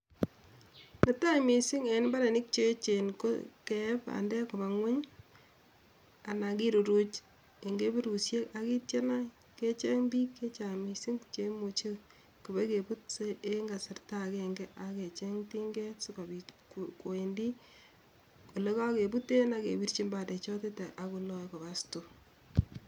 Netai mising eng mbarenik che echen ko keeb bandek koba ngwony anan kiruruch eng kebirusiek ak kityo kecheng biik chechang mising che imuchei koba kebut eng kasarta agenge ak kecheng tinget sikobit koendi ole kagebuten akebirchin bandechoton akoloe koba stoo.